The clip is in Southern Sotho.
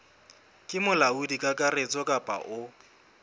ke molaodi kakaretso kapa o